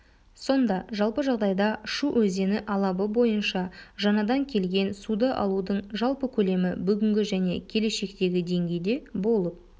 сонда жалпы жағдайда шу өзені алабы бойынша жаңадан келген суды алудың жалпы көлемі бүгінгі және келешектегі деңгейде болып